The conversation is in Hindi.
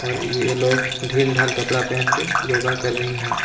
और यह लोग दिल डील डाल कपड़ा पहन के योगा कर रही हैं।